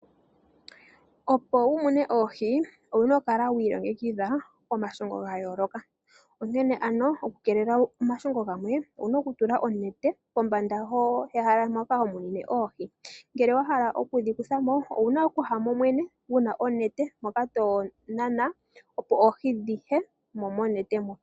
Opo wumune oohi owuna okukala wiilongekidha komashongo gayooloka onkene ano okukeelela omashongo gamwe owuna okutula onete pombanda mpoka homonene oohi ngele wa hala okudhikuthamo owuna okuhamo wene wuna onete mpoka tonana opo oohi dhiyemo monete mo.